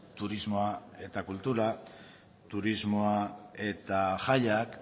turismoa eta kultura turismoa eta jaiak